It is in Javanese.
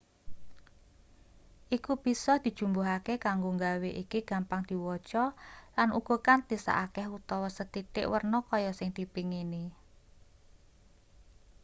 iku bisa dijumbuhake kanggo gawe iki gampang diwaca lan uga kanthi saakeh utawa sethithik werna kaya sing dipingini